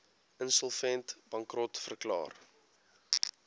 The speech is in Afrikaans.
insolvent bankrot verklaar